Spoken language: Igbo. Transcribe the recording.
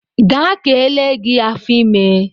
Gaa ka ele gị afọ ime!